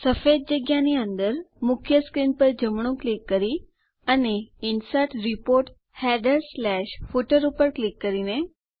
સફેદ જગ્યાની અંદર મુખ્ય સ્ક્રીન પર જમણું ક્લિક કરી અને ઇન્સર્ટ રિપોર્ટ headerફૂટર ઉપર ક્લિક કરીને